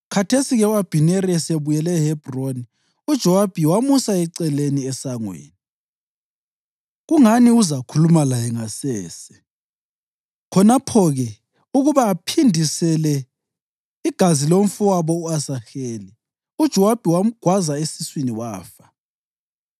Khathesi-ke Abhineri, esebuyele eHebhroni, uJowabi wamusa eceleni esangweni, kungani uzakhuluma laye ngasese. Khonapho-ke ukuba aphindisele igazi lomfowabo u-Asaheli, uJowabi wamgwaza esiswini, wafa.